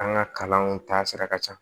An ka kalanw taasira ka ca